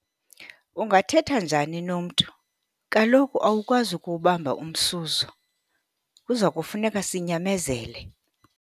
Ungathetha njani nomntu? Kaloku awukwazi ukuwubamba umsuzo, kuza kufuneka sinyamezele.